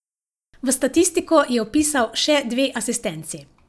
V statistiko je vpisal še dve asistenci.